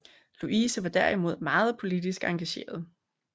Louise var derimod meget politisk engageret